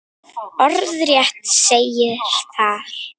Orðrétt segir þar